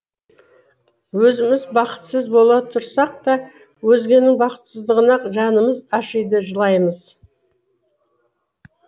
өзіміз бақытсыз бола тұрсақ та өзгенің бақытсыздығына жанымыз ашиды жылаймыз